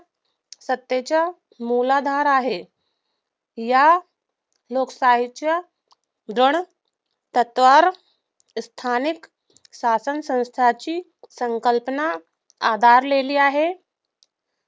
सत्तेचा मोलाधार आहे. या लोकशाहीच्या गुण तत्त्वावर स्थानिक शासनसंस्थेची संकल्पना आधारलेली आहे